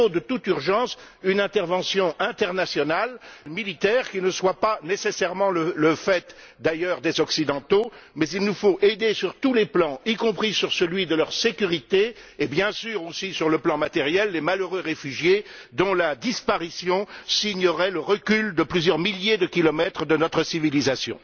Il faut, de toute urgence, une intervention internationale militaire qui ne soit pas nécessairement le fait des Occidentaux, mais il nous faut aider sur tous les plans, y compris sur celui de leur sécurité, et bien entendu également sur le plan matériel, les malheureux réfugiés, dont la disparition signerait le recul sur plusieurs milliers de kilomètres de notre civilisation.